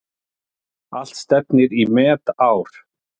Allt stefnir í metár.